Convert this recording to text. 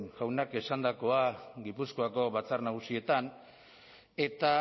jaunak esandakoa gipuzkoako batzar nagusietan eta